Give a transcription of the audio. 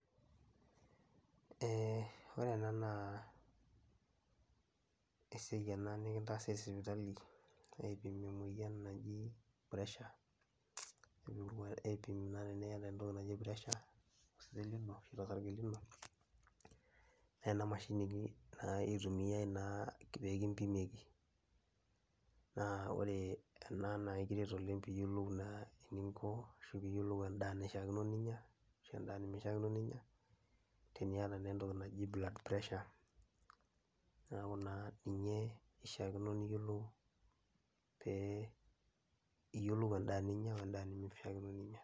Eeh ore ena naa esiai ena nikintaasi esipitali aipim emuoyian naji pressure aipim naa eniata entoki naji pressure tosesen lino ashu tosarge lino naa ena mashini naa itumiayai naa pee kimpimieki naa ore ena naa aikiret ooeng' piiyiolou naa eninko ashu piiyiolou endaa naishiakino pee inya, endaa nemishiakino pee inya teniata ninye entoki naji blood pressure, neeku kishiaa niyiolou endaa nemifaa piinya.